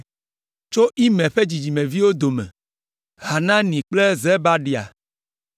Tso Imer ƒe dzidzimeviwo dome: Hanani kple Zebadia.